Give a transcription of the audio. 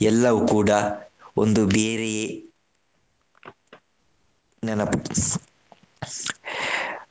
ಎಲ್ಲವೂ ಕೂಡ ಒಂದು ಬೇರೆಯೇ ನೆನಪು.